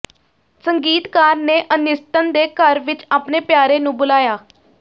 ਸੰਗੀਤਕਾਰ ਨੇ ਅਨਿਸਟਨ ਦੇ ਘਰ ਵਿਚ ਆਪਣੇ ਪਿਆਰੇ ਨੂੰ ਬੁਲਾਇਆ